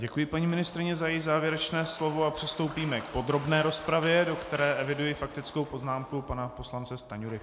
Děkuji paní ministryni za její závěrečné slovo a přistoupíme k podrobné rozpravě, do které eviduji faktickou poznámku pana poslance Stanjury.